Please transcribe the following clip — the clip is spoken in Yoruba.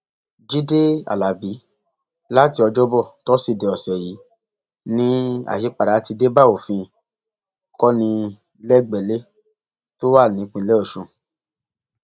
jíde alábí láti ọjọbọ tọsídẹẹ ọsẹ yìí ni àyípadà ti dé bá òfin kọnilẹgbẹlẹ tó wà nípìnlẹ ọsùn